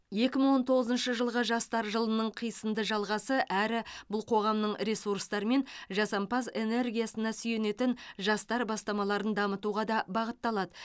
екі мың он тоғызыншы жылғы жастар жылының қисынды жалғасы әрі бұл қоғамның ресурстары мен жасампаз энергиясына сүйенетін жастар бастамаларын дамытуға да бағытталады